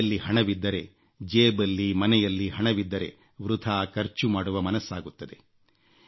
ಕೈಯಲ್ಲಿ ಹಣವಿದ್ದರೆ ಜೇಬಲ್ಲಿ ಮನೆಯಲ್ಲಿ ಹಣವಿದ್ದರೆ ವೃಥಾ ಖರ್ಚು ಮಾಡುವ ಮನಸ್ಸಾಗುತ್ತದೆ